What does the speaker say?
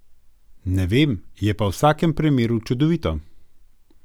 Ne vem, je pa v vsakem primeru čudovito.